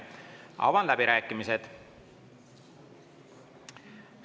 Avan läbirääkimised.